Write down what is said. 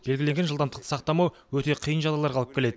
белгіленген жылдамдықты сақтамау өте қиын жағдайларға алып келеді